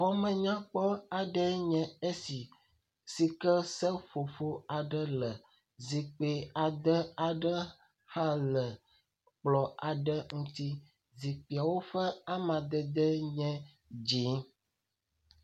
Bɔmenyakpɔ aɖee nye esi si ke seƒoƒo aɖe le zikpui ade aɖe hã le kplɔ aɖe ŋuti. Zikpuiawo ƒe amdede nye dzi.